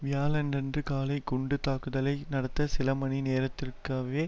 வியாழனன்று காலை குண்டு தாக்குதலை நடந்த சில மணி நேரத்திற்கவ்வே